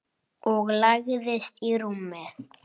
Og lagðist í rúmið.